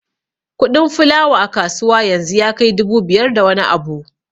Kuɗin fulawa a kasuwa yanzu ya kai dubu biyar da wani abu